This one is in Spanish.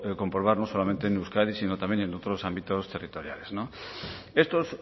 comprobar no solamente en euskadi sino también en otros ámbitos territoriales estos